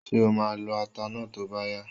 Ṣé o máa lọ ata náà tó bá yá?